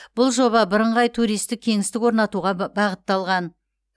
бұл жоба бірыңғай туристік кеңістік орнатуға бағытталған